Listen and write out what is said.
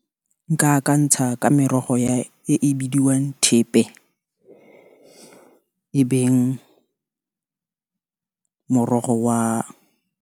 Nka a kantsha ka merogo e e bidiwang thepe, e beng morogo wa.